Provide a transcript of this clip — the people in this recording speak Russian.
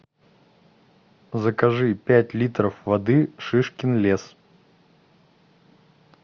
закажи пять литров воды шишкин лес